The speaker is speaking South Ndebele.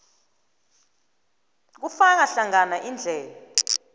kufaka hlangana indlela